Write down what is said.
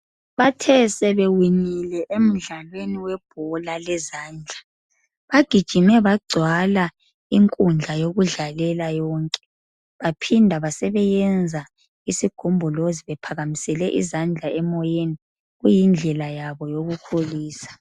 Bathe sebewinile emdlalweni webhola lezandla bagijime bagcwala inkundla yokudlalela yonke baphinda basebeyenza isigombolozi bephakamisele izandla emoyeni kuyidlela yabo yokukholisa.